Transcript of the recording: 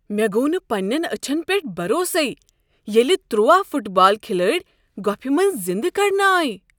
مےٚ گوو نہٕ پننٮ۪ن أچھن پٮ۪ٹھ بھروسَے ییلِہ تُرٛواہ فٹ بال كھِلٲڈۍ گۄپِھہ منٛز زندٕ کڑنہٕ آیہ۔